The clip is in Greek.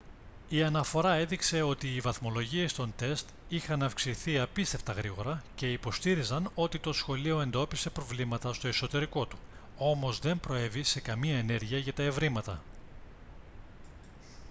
η αναφορά έδειξε ότι οι βαθμολογίες των τεστ είχαν αυξηθεί απίστευτα γρήγορα και υποστήριζαν ότι το σχολείο εντόπισε προβλήματα στο εσωτερικό του όμως δεν προέβη σε καμία ενέργεια για τα ευρήματα